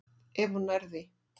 Ef hún nær því.